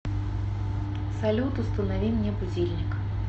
салют установи мне будильник